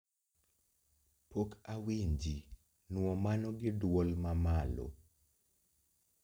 Pok awinji nwo mano gi dwol mamalo